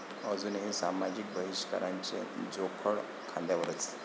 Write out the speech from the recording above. अजूनही सामाजिक बहिष्काराचे जोखड खांद्यावरच!